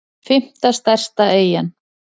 fimmta stærsta eyjan